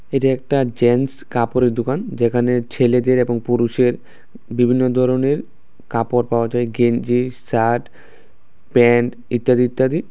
এইটা একটা জেন্টস কাপড়ের দোকান যেখানে ছেলেদের এবং পুরুষের বিভিন্ন ধরনের কাপড় পাওয়া যায় গেঞ্জি শার্ট প্যান্ট ইত্যাদি ইত্যাদি।